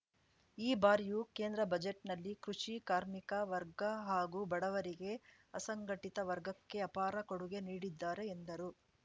ಈ ಬಾರಿಯು ಕೇಂದ್ರ ಬಜೆಟ್‌ನಲ್ಲಿ ಕೃಷಿ ಕಾರ್ಮಿಕ ವರ್ಗ ಹಾಗೂ ಬಡವರಿಗೆ ಅಸಂಘಟಿತ ವರ್ಗಕ್ಕೆ ಅಪಾರ ಕೊಡುಗೆ ನೀಡಿದ್ದಾರೆ ಎಂದರು